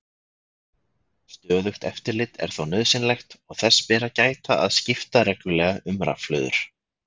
Stöðugt eftirlit er þó nauðsynlegt og þess ber að gæta að skipta reglulega um rafhlöður.